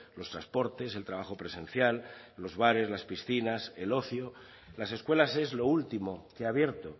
los transportes el trabajo presencial los bares las piscinas el ocio las escuelas es lo último que ha abierto